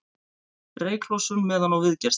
Reyklosun meðan á viðgerð stendur